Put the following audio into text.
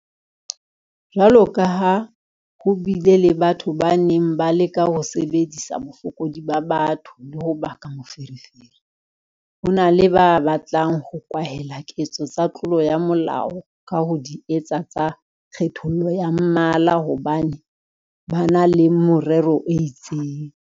Jwalokaha ho bile le batho ba neng ba leka ho sebedisa bofokodi ba batho le ho baka meferefere, ho na le ba batlang ho kwahela ketso tsa tlolo ya molao ka ho di etsa tsa kgethollo ya mmala hobane ba na le merero e itseng.